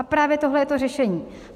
A právě tohle je to řešení.